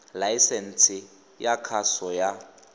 laesense e ya kgaso ya